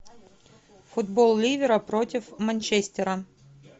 футбол ливера против манчестера